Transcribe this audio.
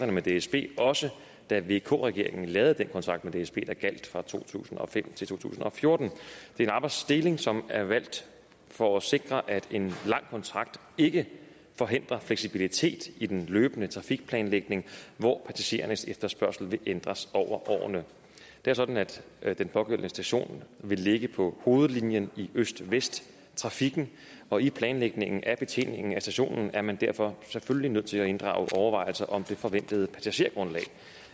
med dsb også da vk regeringen lavede den kontrakt med dsb der gjaldt fra to tusind og fem til to tusind og fjorten det er en arbejdsdeling som er valgt for at sikre at en lang kontrakt ikke forhindrer fleksibilitet i den løbende trafikplanlægning hvor passagerernes efterspørgsel vil ændres over årene det er sådan at at den pågældende station vil ligge på hovedlinjen i øst vest trafikken og i planlægningen af betjeningen af stationen er man derfor selvfølgelig nødt til at inddrage overvejelser om det forventede passagergrundlag